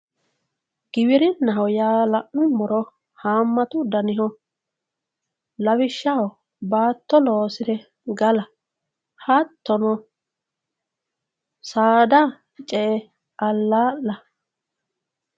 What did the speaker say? Giwirinaho yaa la'nuummoro hamatu daniho lawishshaho baatto loosire galla hattono saada ce"e alaalla.